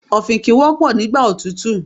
Ọ̀fìnkìn wọ́pọ̀ nígbà òtútù.